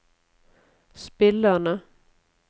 spillerne